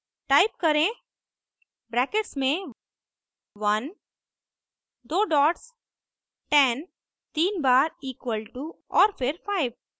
type करें brackets में 1 दो डॉट्स 10 तीन बार इक्वल टू और फिर 5